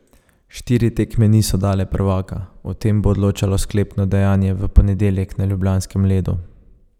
Štiri tekme niso dale prvaka, o tem bo odločalo sklepno dejanje, v ponedeljek na ljubljanskem ledu.